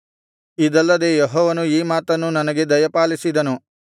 ಇದಲ್ಲದೆ ಯೆಹೋವನು ಈ ಮಾತನ್ನು ನನಗೆ ದಯಪಾಲಿಸಿದನು